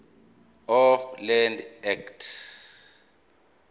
of land act